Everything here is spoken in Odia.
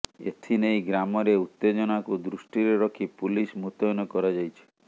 ଏଥିନେଇ ଗ୍ରାମରେ ଉତ୍ତେଜନାକୁ ଦୃଷ୍ଟିରେ ରଖି ପୁଲିସ ମୁତୟନ କରାଯାଇଛି